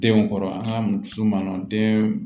Denw kɔrɔ an ka musu ma den